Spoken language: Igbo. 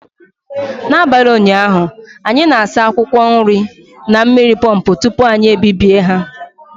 N'abalị ụnyaahụ, anyị na-asa akwụkwọ nri na mmiri pọmpụ tupu anyị ebibie ha